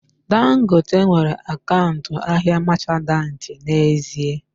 Dangote nwere akaụntụ ahịa machanti n'ezie